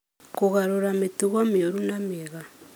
Kũgarũra mĩtugo mĩũru na mĩega.